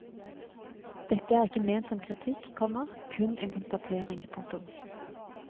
Dette er ikke ment som kritikk, komma kun en konstatering. punktum